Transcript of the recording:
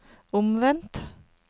omvendt